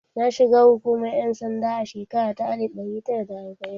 Na shiga hukumar ƴan sanda a shekara ta alif ɗari tara da arbai'in